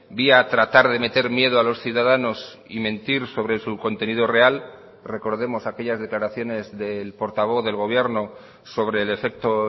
vía tratar de meter miedo a los ciudadanos y mentir sobre su contenido real recordemos aquellas declaraciones del portavoz del gobierno sobre el efecto